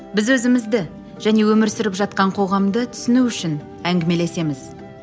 біз өзімізді және өмір сүріп жатқан қоғамды түсіну үшін әңгімелесеміз